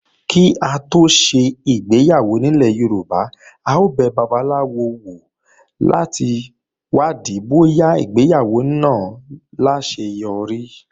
Kí á tó ṣe ìgbéyàwó nílẹ̀ Yorùbá, a ó bẹ babaláwo wò láti wádìí bóyá ìgbéyàwó náà ó láseyọrí.